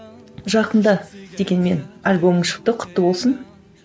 жақында дегенмен альбомың шықты құтты болсын